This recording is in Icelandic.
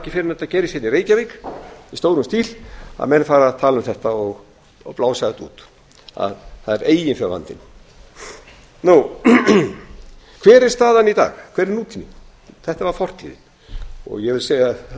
ekki fyrr en þetta gerist hérna í reykjavík í stórum stíl að menn fara að tala um þetta og blása þetta út að það er eiginfjárvandann þetta var fortíðin hver er staðan í dag hver er nútíminn ég vil